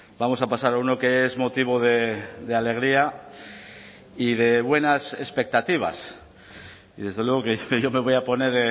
vamos a pasar a uno que es motivo de alegría y de buenas expectativas y desde luego yo me voy a poner